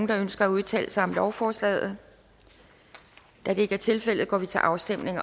der ønsker at udtale sig om lovforslaget da det ikke er tilfældet går vi til afstemning